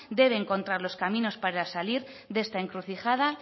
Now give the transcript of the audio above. debe encontrar los caminos para salir de esta encrucijada